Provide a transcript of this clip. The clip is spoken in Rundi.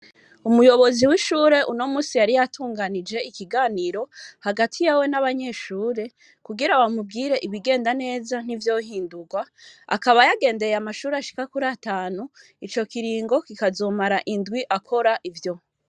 Umuyobozi w'ishure uno musi yari yatunganije ikiganiro hagati yawe n'abanyeshure kugira bamubwire ibigenda neza ntivyohindurwa akaba yagendeye amashuri ashika kuri atanu ico kiringo kikazomara indwi akora ivyo.